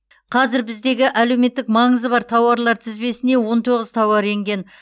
қазір біздегі әлеуметтік маңызы бар тауарлар тізбесіне он тоғыз тауар енген